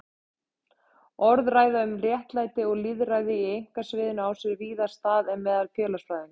Orðræða um réttlæti og lýðræði á einkasviðinu á sér víðar stað en meðal félagsfræðinga.